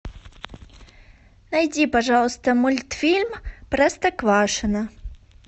найди пожалуйста мультфильм простоквашино